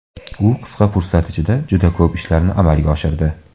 U qisqa fursat ichida juda ko‘p ishlarni amalga oshirdi.